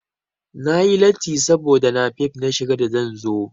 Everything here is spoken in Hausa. Na yi latti saboda napep na shiga da zan zo.